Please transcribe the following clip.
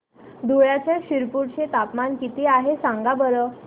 धुळ्याच्या शिरपूर चे तापमान किता आहे सांगा बरं